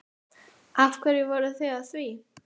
Af hverju voruð þið að því?